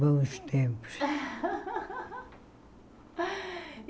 Bons tempos.